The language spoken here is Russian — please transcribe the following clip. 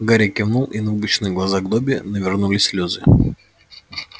гарри кивнул и на выпученных глазах добби навернулись слезы